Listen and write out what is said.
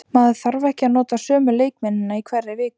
Maður þarf ekki að nota sömu leikmennina í hverri viku.